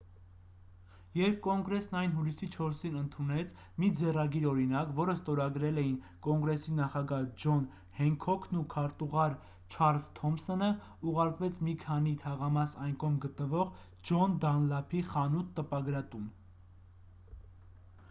երբ կոնգրեսն այն հուլիսի 4-ին ընդունեց մի ձեռագիր օրինակ որը ստորագրել էին կոնգրեսի նախագահ ջոն հենքոքն ու քարտուղար չարլզ թոմսոնը ուղարկվեց մի քանի թաղամաս այն կողմ գտնվող ջոն դանլափի խանութ-տպագրատուն